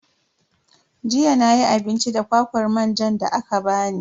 Jiya nayi abinci da kwakwar manjan da aka bani.